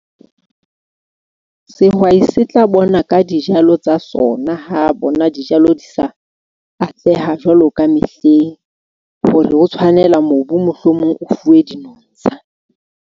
Sehwai se tla bona ka dijalo tsa sona ha bona dijalo di sa atleha jwalo ka mehleng, hore o tshwanela mobu, mohlomong o fuwe dinontsha.